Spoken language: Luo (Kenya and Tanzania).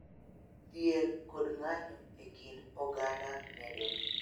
Dhier kod ng�anjo e kind oganda medore